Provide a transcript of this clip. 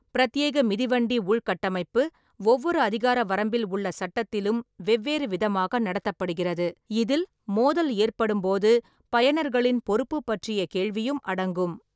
பிரத்யேக மிதிவண்டி உள்கட்டமைப்பு ஒவ்வொரு அதிகார வரம்பில் உள்ள சட்டத்திலும் வெவ்வேறு விதமாக நடத்தப்படுகிறது, இதில் மோதல் ஏற்படும்போது பயனர்களின் பொறுப்பு பற்றிய கேள்வியும் அடங்கும்.